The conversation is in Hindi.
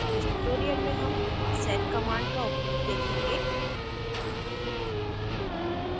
इस tutorial में हम sed command का उपयोग देखेंगे